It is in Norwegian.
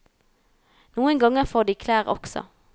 Noen ganger får de klær også.